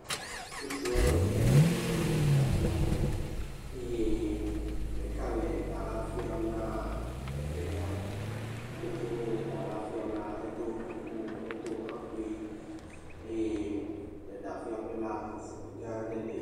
Ŋutsu ame eve aɖewo le ɖafiaƒe eye ɖeka le ɖa la fiam na evelia, ameke le eɖala fiam la do kuku edo gaŋkui, eye eɖafiaƒe la, zikpuiwo gã aɖe le.